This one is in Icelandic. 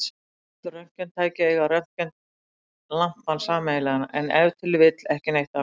Öll röntgentæki eiga röntgenlampann sameiginlegan, en ef til vill ekki neitt annað!